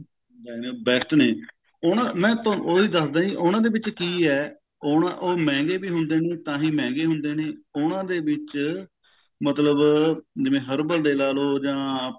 ਐਵੇਂ best ਨੇ ਉਹ ਨਾ ਮੈਂ ਤੁਹਾਨੂੰ ਉਹੀ ਦੱਸਦਾ ਜੀ ਉਹਨਾਂ ਦੇ ਵਿੱਚ ਕਿ ਹੈ ਉਹ ਮਹਿੰਗੇ ਵੀ ਹੁੰਦੇ ਨੇ ਤਾਹੀਂ ਮਹਿੰਗੇ ਵੀ ਹੁੰਦੇ ਨੇ ਉਹਨਾਂ ਦੇ ਵਿੱਚ ਮਤਲਬ herbal ਦੇ ਲਾ ਲਓ ਜਾ ਆਪਣਾ